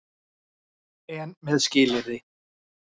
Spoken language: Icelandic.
EN MEÐ SKILYRÐI.